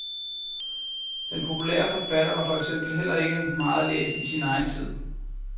Den populære forfatter var for eksempel heller ikke meget læst i sin egen tid.